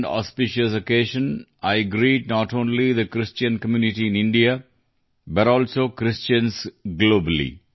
one this holy and auspicious occasion I greet not only the Christian community in India but also Christians globally